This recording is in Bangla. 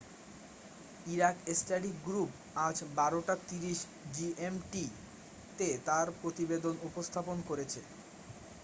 ইরাক স্টাডি গ্রুপ আজ 12.30 জিএমটি তে তার প্রতিবেদন উপস্থাপন করেছে